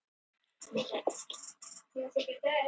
Ég vildi óska að ég hefði ekki gleymt að skrifa jólakort.